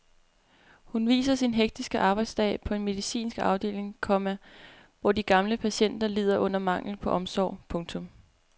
Hun viser sin hektiske arbejdsdag på en medicinsk afdeling, komma hvor de gamle patienter lider under manglen på omsorg. punktum